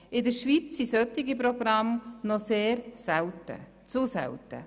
In der Schweiz sind solche Programme noch sehr selten – zu selten.